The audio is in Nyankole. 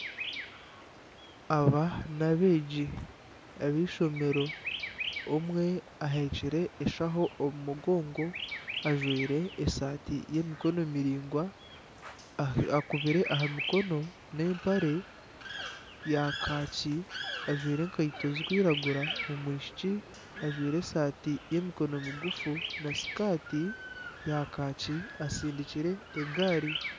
Aba n'abeegi ab'eishomero, omwe ahekire enshaho omu mugongo, ajwire esaati y'emikono miraingwa akubire aha mikono n'empare ya kaaki ajwire enkaito zirikwiragura omwishiki ajwaire esaati y'emikono migufu na sikaati ya kaaki asindikire egaari